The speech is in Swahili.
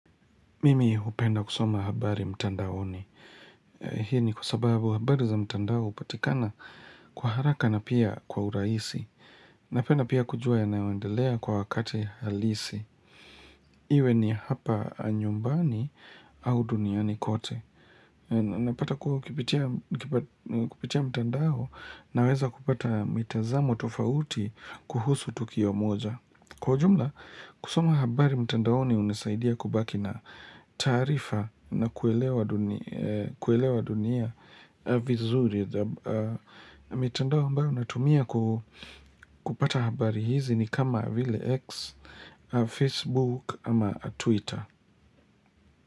Mimi upenda kusoma habari mtandaoni. Hii ni kwa sababu habari za mtandao upatikana kwa haraka na pia kwa urahisi. Napenda pia kujua ya naewendelea kwa wakati halisi. Iwe ni hapa nyumbani au duniani kote. Napata kuhu kipitia mtandao naweza kupata mitazamo tofauti kuhusu tukio moja. Kwa ujumla, kusoma habari mtandaoni unisaidia kubaki na taarifa na kuelewa dunia vizuri. Mtandao ambao natumia kupata habari hizi ni kama vile X, Facebook ama Twitter.